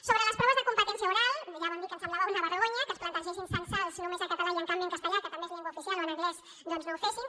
sobre les proves de competència oral ja vam dir que ens semblava una vergonya que es plantegessin censals només en català i en canvi en castellà que també és llengua oficial o en anglès doncs no ho fessin